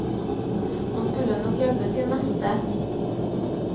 Man skulle nok hjelpe sin neste.